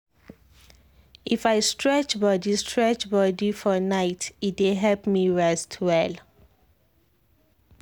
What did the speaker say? if i stretch body stretch body for night e dey help me rest well.